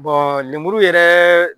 Bɔn lemuru yɛrɛ